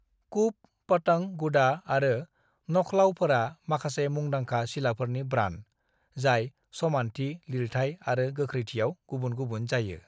"कुप, पतंग, गुडा आरो नखलाऊफोरा माखासे मुंदांखा सिलाफोरनि ब्रान्ड, जाय समान्थि, लिरथाइ आरो गोख्रैथियाव गुबुन गुबुन जायो।"